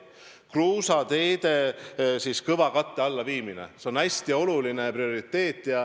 Kruusateede kõvakatte alla viimine on hästi oluline prioriteet.